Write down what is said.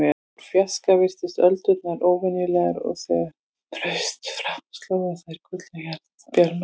Úr fjarska virtust öldurnar óverulegar og þegar kvöldsólin braust fram sló á þær gullnum bjarma.